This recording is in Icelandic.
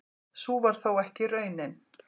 Sú varð þó ekki raunin.